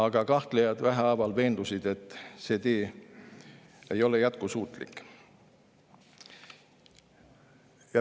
Vähehaaval aga kahtlejad veendusid, et see tee ei ole jätkusuutlik.